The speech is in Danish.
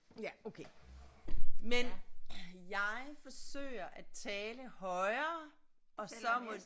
Ja okay men jeg forsøger at tale højere og så må